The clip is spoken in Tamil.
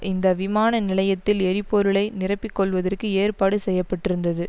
இந்த விமான நிலையத்தில் எரிபொருளை நிரப்பிக்கொள்வதற்கு ஏற்பாடு செய்ய பட்டிருந்தது